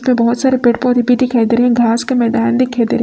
पे बहोत सारे पेड़ पौधे दिखाई दे रहे हैं घास का मैदान दिखाई दे रहे--